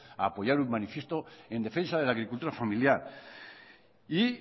a apoyar un manifiesto en defensa de la agricultura familiar y